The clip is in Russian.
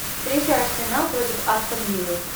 встреча арсенал против астон виллы